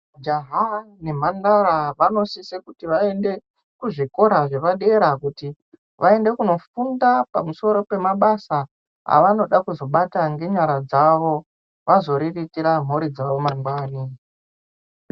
Jaha nemhandara vanosise kuti vaende kuzvikora zvepadera kuti vaende kunofunda pamusoro pemabasa avanoda kuzobata ngenyara dzavo, vazoriritira mhuri dzavo mangwani.